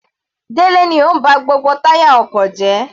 Delẹ ni ó ń ba gbogbo táyà ọkọ̀ jẹ́.